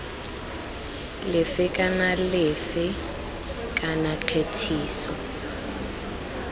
lefe kana lefe kana kgethiso